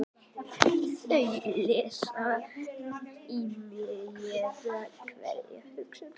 Þau lesa í mig, éta hverja hugsun.